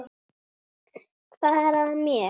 Hvað er að mér?